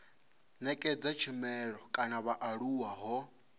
nekedza tshumelo kha vhaaluwa ho